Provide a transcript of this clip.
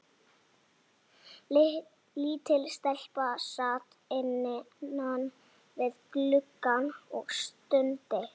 Lítil stelpa sat innan við gluggann og stundi.